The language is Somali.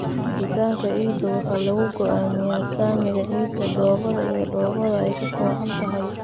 Jiritaanka ciidda waxaa lagu go'aamiyaa saamiga ciidda, dhoobada iyo dhoobada ay ka kooban tahay.